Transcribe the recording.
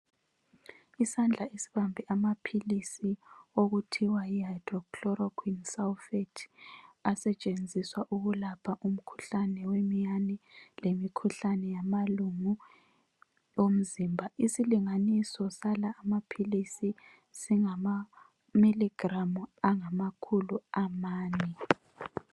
Isandla esibambe amaphilisi okuthiwa yi hydroxychloroquine sulphate asetshenziswa ukulapha umkhuhlane wemiyane komkhuhlane wamalungu omzimba, isilinganiso sala amaphilisi singama milligramme angamakhulu amane